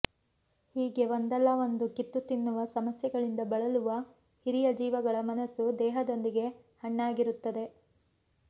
ಹೀಗೆ ಒಂದಲ್ಲಾ ಒಂದು ಕಿತ್ತುತಿನ್ನುವ ಸಮಸ್ಯೆಗಳಿಂದ ಬಳಲುವ ಹಿರಿಯ ಜೀವಗಳ ಮನಸ್ಸು ದೇಹದೊಂದಿಗೆ ಹಣ್ಣಾಗಿರುತ್ತದೆ